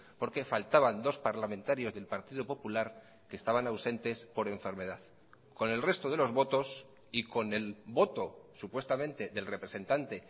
porque faltaban dos parlamentarios del partido popular que estaban ausentes por enfermedad con el resto de los votos y con el voto supuestamente del representante